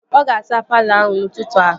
Ọ ga-azaa palọ ahụ n'ụtụtụ a